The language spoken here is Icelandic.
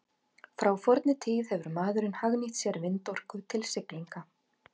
Frá fornri tíð hefur maðurinn hagnýtt sér vindorku til siglinga.